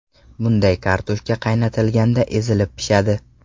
Bunday kartoshka qaynatilganda ezilib pishadi.